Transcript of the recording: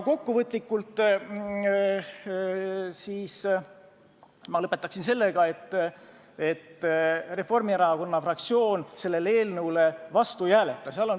Kokku võttes ma lõpetaksin aga sellega, et Reformierakonna fraktsioon selle eelnõu vastu ei hääleta.